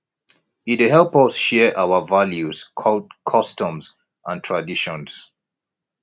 e dey help us share our values customs and traditions